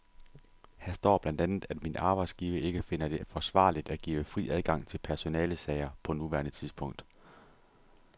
Her står blandt andet, at min arbejdsgiver ikke finder det forsvarligt at give fri adgang til personalesager på nuværende tidspunkt.